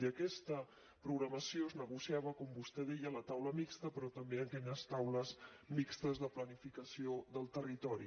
i aquesta programació es negociava com vostè deia a la taula mixta però també a aquelles taules mixtes de planificació del territori